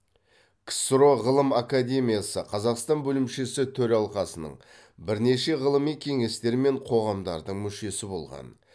ксро ғылым академиясы қазақстан бөлімшесі төралқасының бірнеше ғылыми кеңестер мен қоғамдардың мүшесі болған